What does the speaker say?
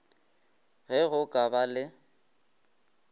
ge go ka ba le